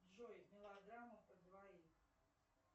джой мелодрама про двоих